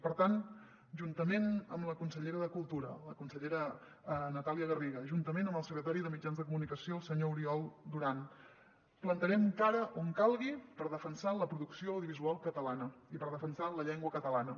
per tant juntament amb la consellera de cultura la consellera natàlia garri·ga juntament amb el secretari de mitjans de comunicació el senyor oriol du·ran plantarem cara on calgui per defensar la producció audiovisual catalana i per defensar la llengua catalana